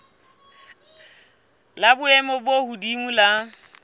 la boemo bo hodimo la